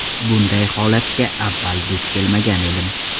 Bunday holatga avval duch kelmagan edim.